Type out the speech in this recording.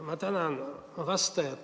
Ma tänan vastajat!